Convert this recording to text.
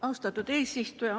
Austatud eesistuja!